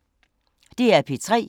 DR P3